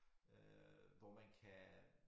Øh hvor man kan